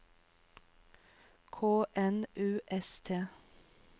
K N U S T